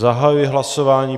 Zahajuji hlasování.